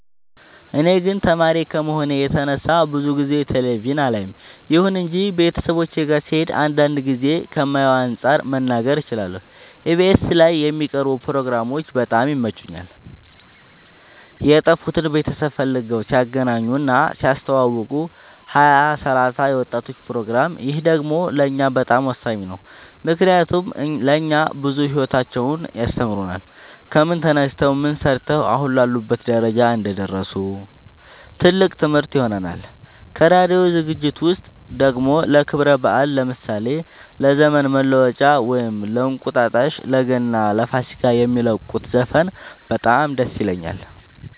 እኔ ግን ተማሪ ከመሆኔ የተነሳ ብዙ ጊዜ ቴሌቪዥን አላይም ይሁን እንጂ ቤተሰቦቼ ጋ ስሄድ አንዳንድ ጊዜ ከማየው አንፃር መናገር እችላለሁ ኢቢኤስ ላይ የሚቀርቡ ፕሮግራሞች በጣም ይመቹኛል የጠፉትን ቤተሰብ ፈልገው ሲያገናኙ እና ሲያስተዋውቁ ሀያ ሰላሳ የወጣቶች ፕሮግራም ይህ ደግሞ ለእኛ በጣም ወሳኝ ነው ምክንያቱም ለእኛ ብዙ ሂወታቸውን ያስተምሩናል ከምን ተነስተው ምን ሰርተው አሁን ላሉበት ደረጃ እንደደረሱ ትልቅ ትምህርት ይሆነናል ከራዲዮ ዝግጅት ውስጥ ደግሞ ለክብረ በአል ለምሳሌ ለዘመን መለወጫ ወይም እንቁጣጣሽ ለገና ለፋሲካ የሚለቁት ዘፈን በጣም ደስ ይለኛል